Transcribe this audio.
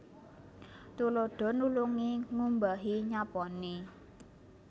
Tuladha nulungi ngumbahi nyaponi